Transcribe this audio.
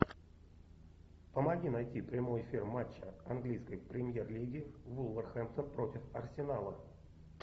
помоги найти прямой эфир матча английской премьер лиги вулверхэмптон против арсенала